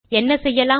என்ன செய்யலாம்